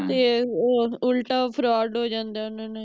ਤੇ ਉਹ ਉਲਟਾ fraud ਹੋ ਜਾਂਦਾ ਹੈ ਓਹਨਾ ਨਾਲ